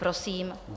Prosím.